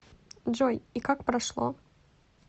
джой и как прошло